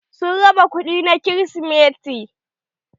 Sun raba kuɗi na krisimeti.